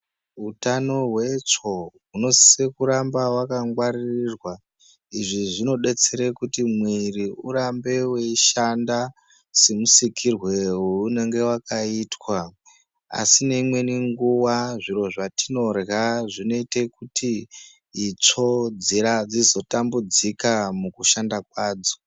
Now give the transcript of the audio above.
Utano hwetsvo hunosise kugara hwakangwarirwa izvi zvinodetsera kuti mwiri urambe weishanda semusikirwe weunenge wakaitwa asi neimweni nguwa zviro zvatinorya zvinoita kuti itsvo dzizotambudzika mukushanda kwadzo.